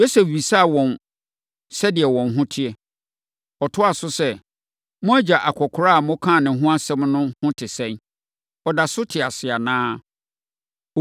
Yosef bisaa wɔn sɛdeɛ wɔn ho te. Ɔtoaa so sɛ, “Mo agya akɔkoraa a mokaa ne ho asɛm no ho te sɛn? Ɔda so te ase anaa?”